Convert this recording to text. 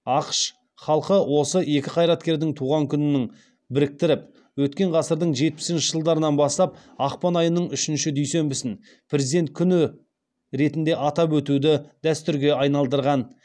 ақш халқы осы екі қайраткердің туған күнін біріктіріп өткен ғасырдың жетпісінші жылдарынан бастап ақпан айының үшінші дүйсенбісін президент күні ретінде атап өтуді дәстүрге айналдырған